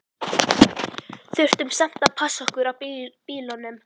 Þurftum samt að passa okkur á bílunum.